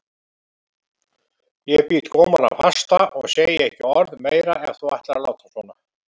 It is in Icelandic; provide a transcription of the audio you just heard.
Ég bít gómana fasta og segi ekki orð meira ef þú ætlar að láta svona.